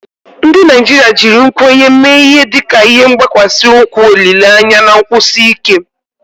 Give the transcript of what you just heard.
Ndị Naijiria jiri nkwenye mee ihe dịka ihe gbakwasi ukwu olile anya na nkwụsi ike.